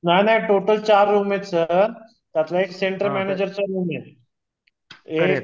नाही नाही टोटल चार रूम आहेत सर त्यातला एक सेंटर मॅनॅजरचा रूम आहे एक